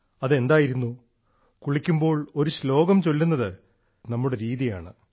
അത് എന്തായിരുന്നു കുളിക്കുമ്പോൾ ഒരു ചൊല്ലുന്നത് നമ്മുടെ രീതിയാണ്